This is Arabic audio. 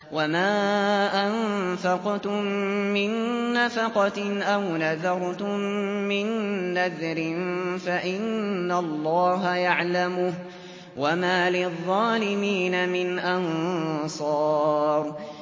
وَمَا أَنفَقْتُم مِّن نَّفَقَةٍ أَوْ نَذَرْتُم مِّن نَّذْرٍ فَإِنَّ اللَّهَ يَعْلَمُهُ ۗ وَمَا لِلظَّالِمِينَ مِنْ أَنصَارٍ